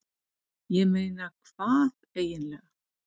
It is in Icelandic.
ég meina hvað eiginlega.